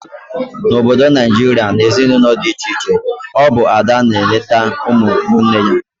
Na Obodo Naijiria, na ezinaụlọ dị iche iche, ọ bụ Ada na eneta ụmụ nwanne ya